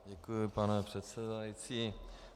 Děkuji, pane předsedající.